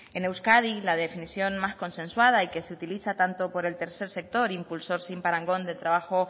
en euskadi la definición más consensuada y que se utiliza tanto por el tercer sector impulsor sin parangón del trabajo